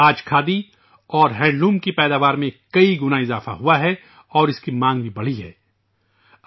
آج کھادی اور ہینڈلوم کی پیداوار کئی گنا بڑھ گئی ہے اور اس کی مانگ میں بھی اضافہ ہوا ہے